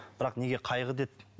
бірақ неге қайғы деді